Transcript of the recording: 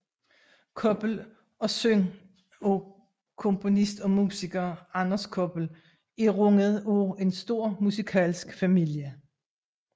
Koppel og søn af komponist og musiker Anders Koppel er rundet af en stor musikalsk familie